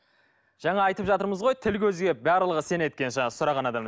жаңа айтып жатырмыз ғой тіл көзге барлығы сенеді екен жаңағы сұранған адамның